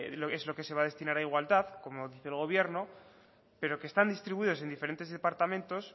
es lo que se va a destinar a igualdad como dice el gobierno pero que están distribuidos en diferentes departamentos